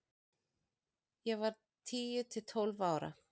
Ég var tíu til tólf ára.